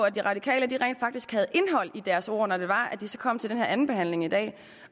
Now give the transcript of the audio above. at de radikale rent faktisk havde indhold i deres ord når de kom til den her andenbehandling i dag